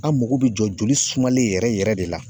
An mago bi jɔ joli sumalen yɛrɛ yɛrɛ de la.